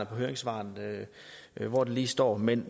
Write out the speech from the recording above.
høringssvarene hvor det lige står men